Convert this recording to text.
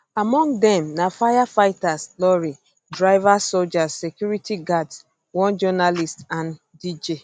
among dem na firefighters lorry drivers soldiers security guards one journalist and dj